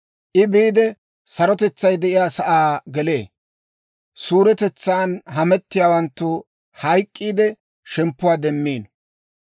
I biide sarotetsay de'iyaa sa'aa gelee. Suuretetsan hametiyaawanttu hayk'k'iide shemppuwaa demmiino.